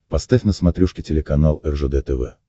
поставь на смотрешке телеканал ржд тв